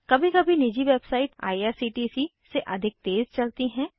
कभी कभी निजी वेबसाइट आईआरसीटीसी से अधिक तेज़ चलती है